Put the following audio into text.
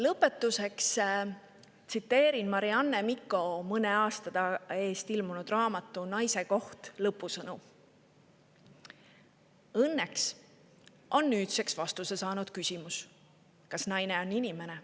Lõpetuseks tsiteerin Marianne Mikko mõne aasta eest ilmunud raamatu "Naise koht" lõpusõnu: "Õnneks on nüüdseks vastuse saanud küsimus, kas naine on inimene.